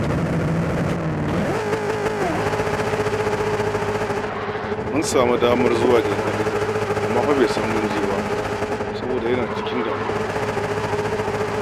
Mun samu damar halartar jana'izar, amma fa bai san mun je ba, saboda yana cikin damuwa.